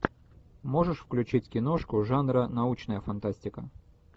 можешь включить киношку жанра научная фантастика